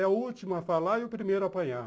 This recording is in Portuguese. É o último a falar e o primeiro a apanhar.